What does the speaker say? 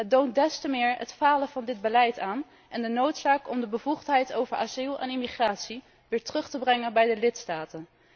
Deze operatie toont des te meer het falen van dit beleid aan en de noodzaak om de bevoegdheid over asiel en immigratie weer terug te brengen bij de lidstaten.